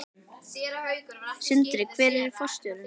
Sindri: Hver yrði forstjórinn?